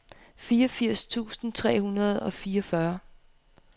fireogfirs tusind tre hundrede og fireogfyrre